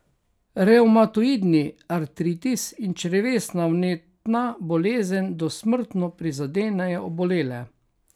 Revmatoidni artritis in črevesna vnetna bolezen dosmrtno prizadenejo obolele.